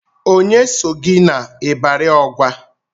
Onye so gị n'Ibari Ọgwa?